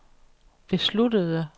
besluttede